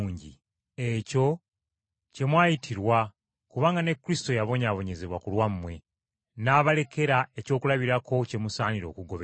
Ekyo kye mwayitirwa kubanga ne Kristo yabonyaabonyezebwa ku lwammwe, n’abalekera ekyokulabirako kye musaana okugoberera.